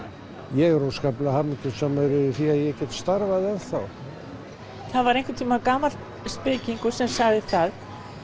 ég er óskaplega hamingjusamur yfir því að ég get starfað ennþá það var einhvern tímann gamall spekingur sem sagði það